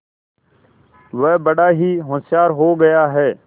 वह बड़ा ही होशियार हो गया है